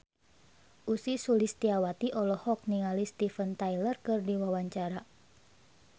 Ussy Sulistyawati olohok ningali Steven Tyler keur diwawancara